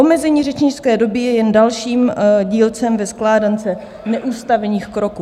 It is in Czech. Omezení řečnické doby je jen dalším dílcem ve skládance neústavních kroků.